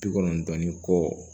Bi kɔnɔntɔn ni kɔ